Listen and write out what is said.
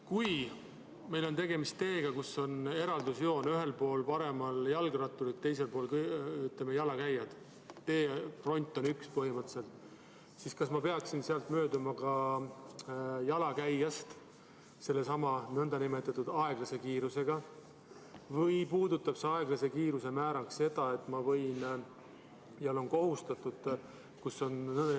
Kui meil on tegemist teega, kus on eraldusjoon – ühel pool jalgratturid, teisel pool jalakäijad, teefront on põhimõtteliselt üks –, siis kas ma peaksin ka seal mööduma jalakäijast sellesama, nn aeglase kiirusega või olen ma kohustatud jälgima seda aeglase kiiruse määra seal, kus on nn segakasutus?